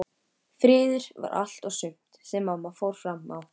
Friður var allt og sumt sem mamma fór fram á.